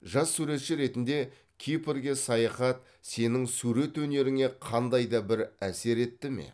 жас суретші ретінде кипрге саяхат сенің сурет өнеріңе қандай да бір әсер етті ме